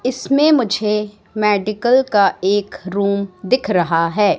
इसमें मुझे मेडिकल का एक रूम दिख रहा है।